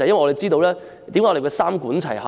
為何我們說要三管齊下呢？